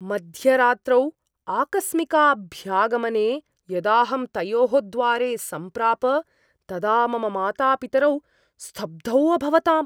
मध्यरात्रौ आकस्मिकाभ्यागमने यदाहं तयोः द्वारे समप्राप तदा मम मातापितरौ स्तब्धौ अभवताम्।